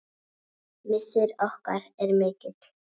Missir okkar er mikill.